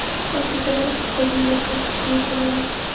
Afrikadan iqtisodiy mo‘jiza kutish mumkin emas.